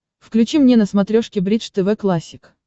включи мне на смотрешке бридж тв классик